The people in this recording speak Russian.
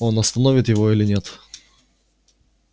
он остановит его или нет